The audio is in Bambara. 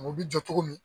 U bɛ jɔ cogo min